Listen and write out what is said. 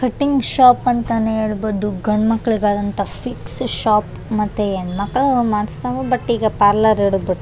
cutting shop ಅಂತ ನೆ ಹೇಳ್ಬಹುದು ಗಂಡ್ಮಕ್ಳಿಗಾದಂತ ಫಿಕ್ಸ್ ಶೋಪ್ ಮತ್ತೆ ಹೆಣ್ಮಕ್ಳು ಮಾಡ್ಸತವು ಬುಟ್ ಈಗ ಪಾರ್ಲರ್ ಇಡದ್ಬುಟ್ --